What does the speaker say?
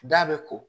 Da bɛ ko